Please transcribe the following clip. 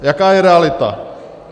Jaká je realita?